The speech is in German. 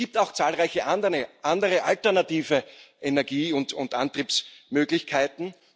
Es gibt auch zahlreiche andere alternative Energie und Antriebsmöglichkeiten.